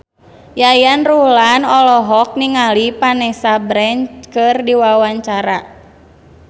Yayan Ruhlan olohok ningali Vanessa Branch keur diwawancara